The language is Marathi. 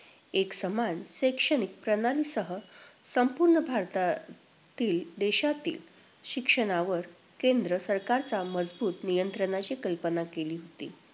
एकसमान शैक्षणिक प्रणालीसह संपूर्ण भारतातील देशातील शिक्षणावर केंद्र सरकारचा मजबूत नियंत्रणाची कल्पना केली होती.